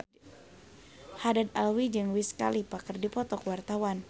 Haddad Alwi jeung Wiz Khalifa keur dipoto ku wartawan